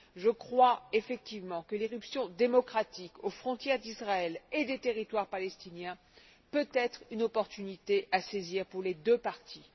Je crois effectivement que l'irruption démocratique aux frontières d'Israël et des territoires palestiniens peut être une opportunité à saisir pour les deux parties.